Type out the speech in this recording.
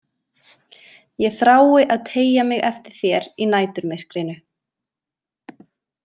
Ég þrái að teygja mig eftir þér í næturmyrkrinu.